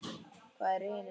Hvað eru hinir þá?